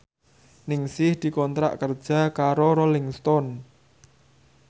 Ningsih dikontrak kerja karo Rolling Stone